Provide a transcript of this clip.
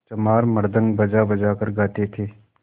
चमार मृदंग बजाबजा कर गाते थे